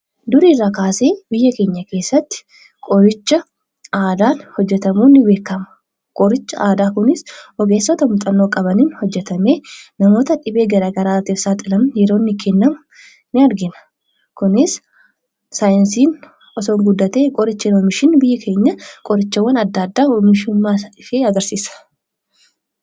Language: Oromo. Duri irraa kaasee biyya keenya keessatti qoricha aadaatu hojjetamuun ni beekama. Qorichi aadaa kunis ogeessota muuxannoo qabaniin hojjetamee bnamoota dhibee garaa garaatiif saaxilaman yeroo inni kennamu ni argina. Kunis saayinsiin osoo guddatee qoricha oomishan biyya keenya qorichawwan adda addaa oomishummaasaaf agarsiisa.